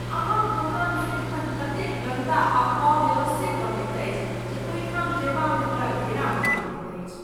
अहाँक दोकान सदिखन ततेक गन्दा आ अव्यवस्थित रहैत अछि जे ओहिठाम जयबामे हमरा घृणा होइत रहैत अछि।